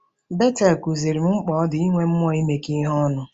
Betel kụziiri m mkpa ọ dị inwe mmụọ imekọ ihe ọnụ.